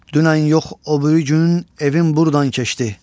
Dünən yox, o biri gün evim buradan keçdi.